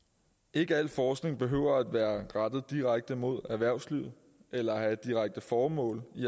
ikke al forskning behøver at være rettet direkte mod erhvervslivet eller have et direkte formål i